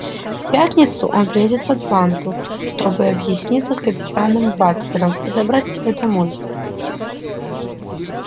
в пятницу он приедет в атланту чтобы объясниться с капитаном батлером и забрать тебя домой